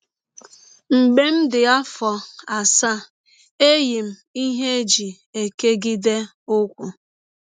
Mgbe m dị m afọ asaa, eyi m ihe e ji ekegide ụkwụ